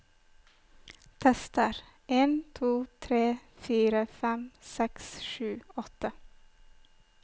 Tester en to tre fire fem seks sju åtte